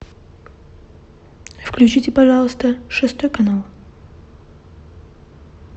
включите пожалуйста шестой канал